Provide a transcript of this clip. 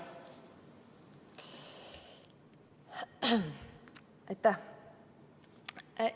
Aitäh!